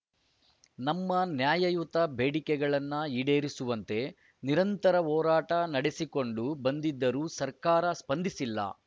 ನಮ್ಮ ನ್ಯಾಯಯುತ ಬೇಡಿಕೆಗಳನ್ನು ಈಡೇರಿಸುವಂತೆ ನಿರಂತರ ಹೋರಾಟ ನಡೆಸಿಕೊಂಡು ಬಂದಿದ್ದರೂ ಸರ್ಕಾರ ಸ್ಪಂದಿಸಿಲ್ಲ